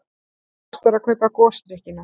Fyrst var að kaupa gosdrykkina.